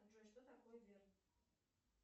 джой что такое верн